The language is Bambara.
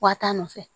Wa taa nɔfɛ